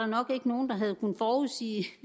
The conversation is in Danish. nok ikke nogen der havde kunnet forudse